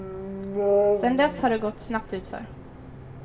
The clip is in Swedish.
Sedan dess har det gått snabbt utför.